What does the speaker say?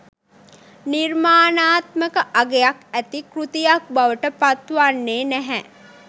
නිර්මාණාත්මක අගයක් ඇති කෘතියක් බවට පත් වන්නේ නැහැ